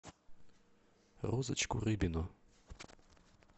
розочку рыбину